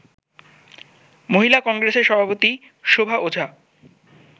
মহিলা কংগ্রেসের সভাপতি শোভা ওঝা